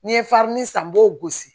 N'i ye san n b'o gosi